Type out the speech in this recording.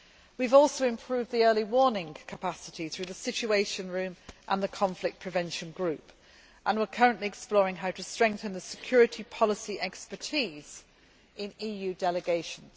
We have also improved the early warning capacity through the Situation Room and the Conflict Prevention Group and we are currently exploring how to strengthen the security policy expertise in EU delegations.